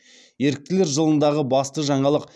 еріктілер жылындағы басты жаңалық